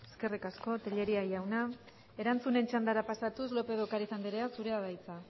eskerrik asko tellería jauna erantzunen txandara pasatuz lópez de ocariz andrea zurea da hitza